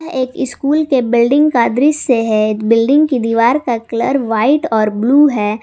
एक स्कूल के बिल्डिंग दृश्य है बिल्डिंग की दीवार का कलर व्हाइट और ब्लू हैं।